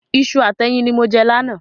Iṣu àti ẹyin ní mo jẹ lánàá